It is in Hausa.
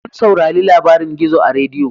Mun saurari labarin gizo a rediyo